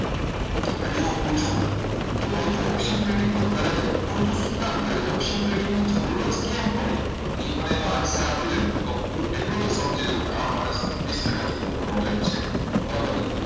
અને એવું પૂછું કે ભાઈ તું option trading તો કરે છે પણ તું શું કામ કરે છે option trading ની જરૂરત જ કેમ પડી ની પણ એનો answer આપી દેને હું એટલો સમજી જવું આ માણસને ત્રીસ ટકા જેટલું knowledge તો છે બરોબર છે